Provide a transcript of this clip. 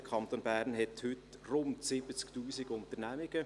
Der Kanton Bern hat heute rund 70 000 Unternehmungen.